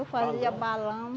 Eu fazia balão.